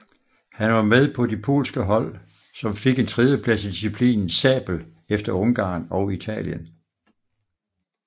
Han var med på de polske hold som fik en tredjeplads i disciplinen sabel efter Ungarn og Italien